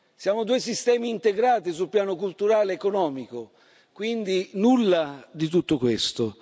Siamo due sistemi integrati sul piano culturale ed economico, quindi nulla di tutto questo.